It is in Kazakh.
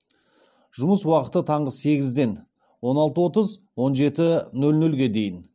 жұмыс уақыты таңғы сегізден он алты отыз он жеті нөл нөлге дейін